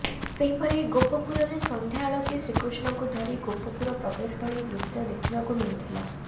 ସେହିପରି ଗୋପପୁରରେ ସନ୍ଧ୍ୟା ଆଳତି ଶ୍ରୀକୃଷ୍ଣଙ୍କୁ ଧରି ଗୋପପୁର ପ୍ରବେଶ ଭଳି ଦୃଶ୍ୟ ଦେଖିବାକୁ ମିଳିଥିଲା